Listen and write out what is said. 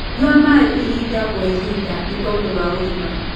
Nyua maĩ ĩhĩda gwa ĩhĩda nĩtondũ wa ũgima